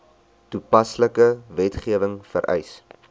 toepaslike wetgewing vereis